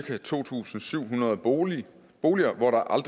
er to tusind syv hundrede boliger boliger